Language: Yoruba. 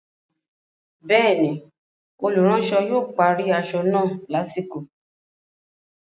Bẹ́ẹ̀ni, olùránsọ yóò parí aṣọ náà lásìkò